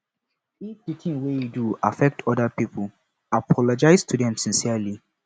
if di thing wey you do affect oda pipo apologize to them sincerely